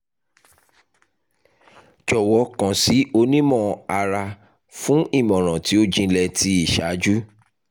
jọwọ kan si onimọ-ara fun imọran ti o jinlẹ ti iṣaaju